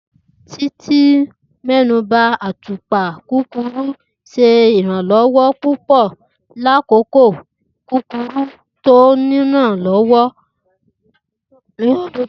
Titi mẹnuba, Atupa kurukuru ṣe iranlọwọ pupọ lakoko kurukuru ti o nipọn ni ọdun to kọja.